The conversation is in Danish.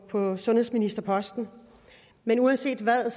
på sundhedsministerposten men uanset hvad er